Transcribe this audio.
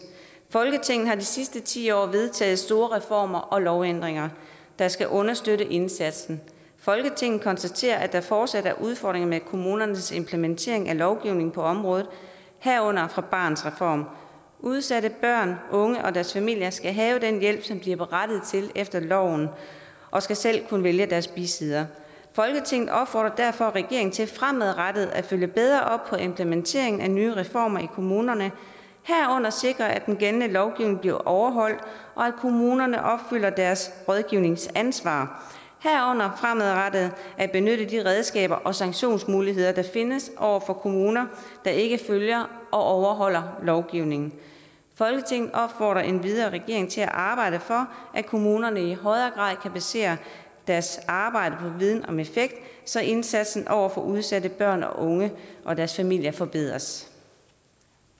folketinget har de sidste ti år vedtaget store reformer og lovændringer der skal understøtte indsatsen folketinget konstaterer at der fortsat er udfordringer med kommunernes implementering af lovgivningen på området herunder fra barnets reform udsatte børn unge og deres familier skal have den hjælp som de er berettiget til efter loven og skal selv kunne vælge deres bisidder folketinget opfordrer derfor regeringen til fremadrettet at følge bedre op på implementeringen af nye reformer i kommunerne herunder sikre at den gældende lovgivning bliver overholdt og at kommunerne opfylder deres rådgivningsansvar herunder fremadrettet at benytte de redskaber og sanktionsmuligheder der findes over for kommuner der ikke følger og overholder lovgivningen folketinget opfordrer endvidere regeringen til at arbejde for at kommunerne i højere grad kan basere deres arbejde viden om effekt så indsatsen over for udsatte børn unge og deres familier forbedres